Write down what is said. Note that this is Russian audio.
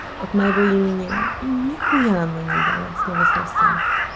от моего имени и нехуя она не дала от слова совсем